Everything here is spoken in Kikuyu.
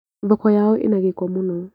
Thoko yao ĩna gĩko mũno